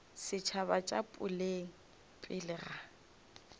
setšhaba tša boleng pele ga